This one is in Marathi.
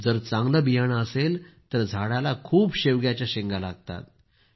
जर चांगलं बियाणं असेल तर झाडाला खूप शेवग्याच्या शेंगा लागतात